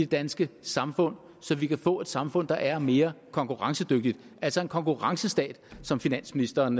danske samfund så vi kan få et samfund der er mere konkurrencedygtigt altså en konkurrencestat som finansministeren